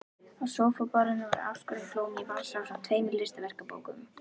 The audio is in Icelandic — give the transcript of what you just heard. Á sófaborðinu voru afskorin blóm í vasa ásamt tveimur listaverkabókum.